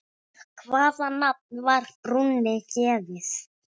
Hvaða nafn var brúnni gefið?